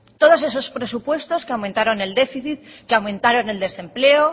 todos esos presupuestos que aumentaron el déficit que aumentaron el desempleo